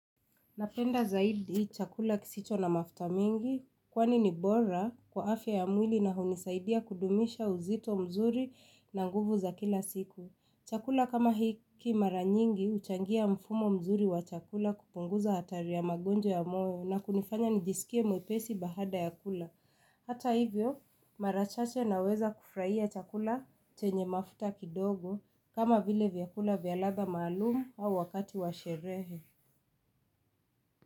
Napenda zaidi chakula kisicho na mafuta mingi kwani ni bora kwa afya ya mwili na hunisaidia kudumisha uzito mzuri na nguvu za kila siku. Chakula kama hiki maranyingi uchangia mfumo mzuri wa chakula kupunguza hatari ya magonjwa ya moyo na kunifanya nijisikie mwepesi bahada ya kula. Hata hivyo mara chache naweza kufurahia chakula chenye mafuta kidogo kama vile vyakula vya ladha maalumu au wakati washerehe.